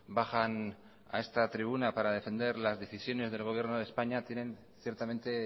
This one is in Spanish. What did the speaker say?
bajan a esta tribuna para defender las decisiones del gobierno de españa tienen ciertamente